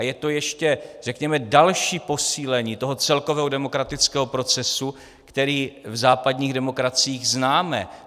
A je to ještě řekněme další posílení toho celkového demokratického procesu, který v západních demokraciích známe.